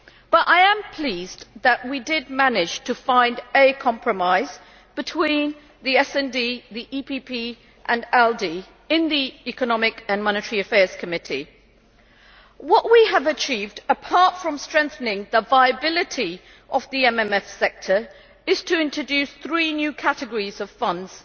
But I am pleased that we did manage to find a compromise between the SD, the EPP and ALDE in the Committee on Economic and Monetary Affairs. What we have achieved, apart from strengthening the viability of the MFF sector, is to introduce three new categories of funds